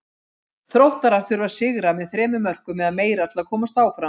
Þróttarar þurfa að sigra með þremur mörkum eða meira til að komast áfram.